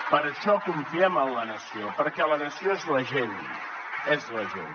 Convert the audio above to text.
per això confiem en la nació perquè la nació és la gent és la gent